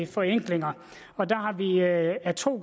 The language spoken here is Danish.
forenklinger og der har vi ad to